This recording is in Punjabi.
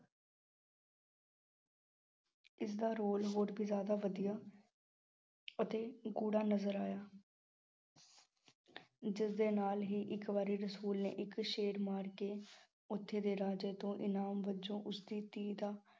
ਉਸਦਾ role ਹੋਰ ਵੀ ਜ਼ਿਆਦਾ ਵਧੀਆ ਅਤੇ ਗੂੜ੍ਹਾ ਨਜ਼ਰ ਆਇਆ ਜਿਸਦੇ ਨਾਲ ਹੀ ਇੱਕ ਵਾਰੀ ਰਸੂਲ ਨੇ ਇੱਕ ਸ਼ੇਰ ਮਾਰ ਕੇ ਉੱਥੇ ਦੇ ਰਾਜੇ ਤੋਂ ਇਨਾਮ ਵਜ਼ੋਂ ਉਸਦੀ ਧੀ ਦਾ